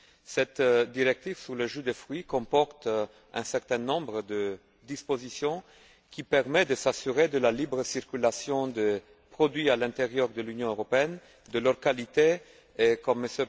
Cette directive sur les jus de fruits comporte un certain nombre de dispositions qui permettent de s'assurer de la libre circulation des produits à l'intérieur de l'Union européenne, de leur qualité et comme M.